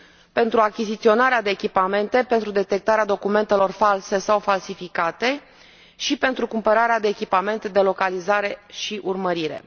pentru achiziționarea de echipamente pentru detectarea documentelor false sau falsificate și pentru cumpărarea de echipamente de localizare și urmărire.